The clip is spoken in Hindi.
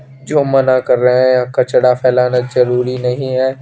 जो मना कर रहे है कचरा फेलाना जरूरी नही है।